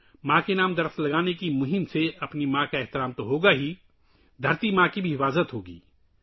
ماں کے نام پر درخت لگانے کی مہم سے نہ صرف ہماری ماں کی عزت دوبالا ہوگی بلکہ دھرتی ماں کی حفاظت بھی ہوگی